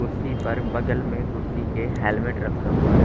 कुर्सी पर बगल में कुर्सी के हेल्मेट रखा हुआ है।